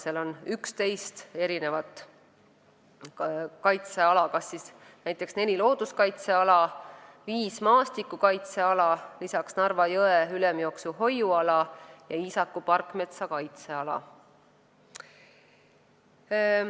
Seal on 11 kaitseala: neli looduskaitseala, viis maastikukaitseala, lisaks Narva jõe ülemjooksu hoiuala ja Iisaku parkmetsa kaitseala.